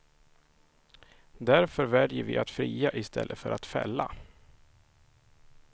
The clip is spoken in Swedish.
Därför väljer vi att fria i stället för att fälla.